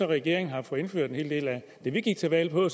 regeringen har fået indført en hel del af det vi gik til valg på